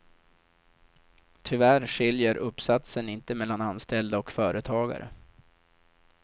Tyvärr skiljer uppsatsen inte mellan anställda och företagare.